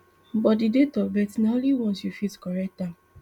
but di date of birth na only once you fit correct am